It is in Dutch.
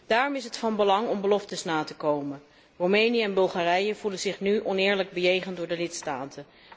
Daarom is het van belang om beloftes na te komen. Roemenië en Bulgarije voelen zich nu oneerlijk bejegend door de lidstaten.